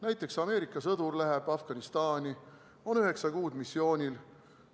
Näiteks Ameerika sõdur läheb Afganistani, on üheksa kuud missioonil.